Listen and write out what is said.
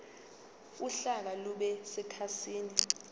uhlaka lube sekhasini